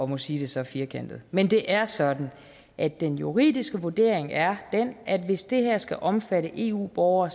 må sige det så firkantet men det er sådan at den juridiske vurdering er at hvis det her skal omfatte eu borgere